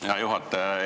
Hea juhataja!